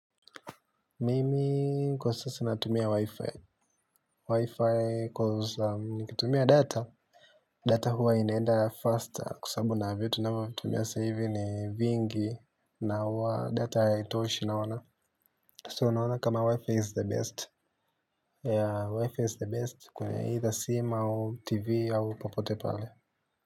Mimi kwa sasa natumia wi-fi wi-fi coz nikitumia data data huwa inaenda ya faster kwa sababu na vitu ninavyovitumia saa hivi ni vingi na huwa data haitoshi naina sasa unaona kama wi-fi is the best wi-fi is the best kwenye either sim au tv au popote pale.